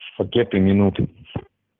с пакета минут